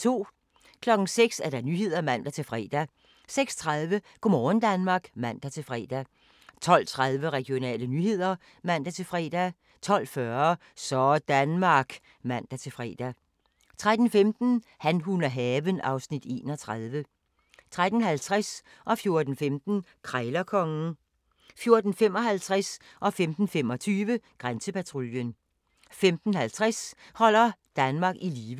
06:00: Nyhederne (man-fre) 06:30: Go' morgen Danmark (man-fre) 12:30: Regionale nyheder (man-fre) 12:40: Sådanmark (man-fre) 13:15: Han, hun og haven (Afs. 31) 13:50: Krejlerkongen 14:15: Krejlerkongen 14:55: Grænsepatruljen 15:25: Grænsepatruljen 15:50: Holder Danmark i live